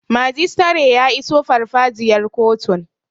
Majistare ya iso farfajiyar kotun